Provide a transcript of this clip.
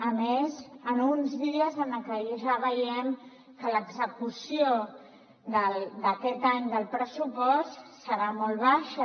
a més en uns dies en què ja veiem que l’execució d’aquest any del pressupost serà molt baixa